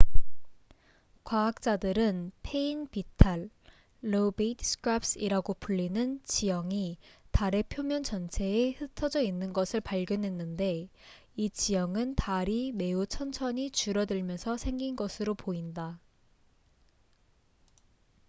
과학자들은 패인 비탈lobate scarps이라고 불리는 지형이 달의 표면 전체에 흩어져 있는 것을 발견했는데 이 지형은 달이 매우 천천히 줄어들면서 생긴 것으로 보인다